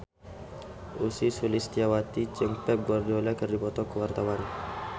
Ussy Sulistyawati jeung Pep Guardiola keur dipoto ku wartawan